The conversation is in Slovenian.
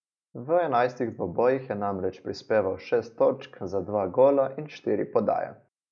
V enajstih dvobojih je namreč prispeval šest točk za dva gola in štiri podaje.